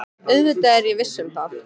Auðvitað er ég viss um það.